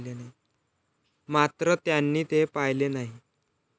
मात्र त्यांनी ते पाळले नाही.